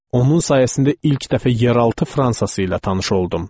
Onun sayəsində ilk dəfə yeraltı Fransası ilə tanış oldum.